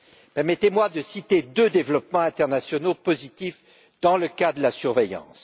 Permettez moi de citer deux développements internationaux positifs dans le domaine de la surveillance.